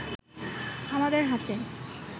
আমাদের হাতে